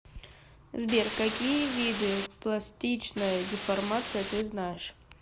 сбер какие виды пластичная деформация ты знаешь